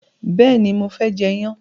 béèni mo fé jê iyán.